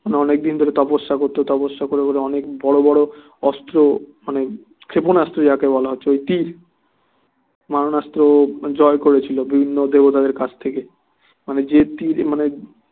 অনেকদিন ধরে তপস্যা করছো তপস্যা করে করে অনেক বড়ো বড়ো অস্ত্র মানে ক্ষেপণাস্ত্র যাকে বলা হচ্ছে মানে তীর মারণাস্ত্র জয় করেছিল বিভিন্ন দেবতাদের কাছ থেকে মানে যে তীর মানে